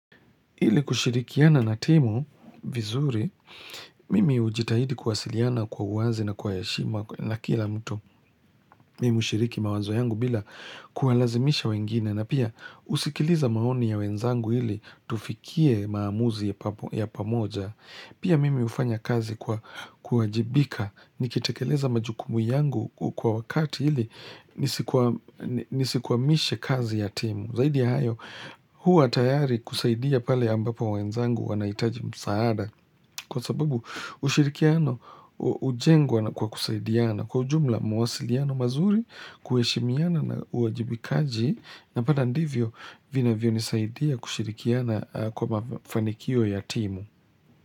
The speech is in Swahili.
Hili kushirikiana na timu vizuri, mimi ujitahidi kuwasiliana kwa uwazi na kwa yashima na kila mtu mimi ushiriki mawazo yangu bila kuwalazimisha wengine na pia usikiliza maoni ya wenzangu hili tufikie maamuzi ya pamoja. Pia mimi ufanya kazi kwa kuwajibika nikitekeleza majukumu yangu kwa wakati ili nisikuwa mishe kazi ya timu. Zaidia hayo huwa tayari kusaidia pale ambapo wenzangu wanaitaji msaada kwa sababu ushirikiano ujengwa na kwa kusaidiana kwa jumla muwasiliano mazuri kueshimiana na uajibikaji na pata ndivyo vina vyo nisaidia kushirikiana kwa mafanikio ya timu.